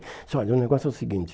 Ela disse, olha, o negócio é o seguinte.